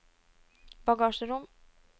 bagasjerom